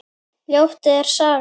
Ljót er sagan.